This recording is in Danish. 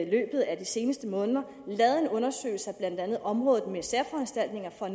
løbet af de seneste måneder lavet en undersøgelse af blandt andet området med særforanstaltninger for